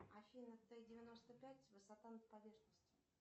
афина т девяносто пять высота над поверхностью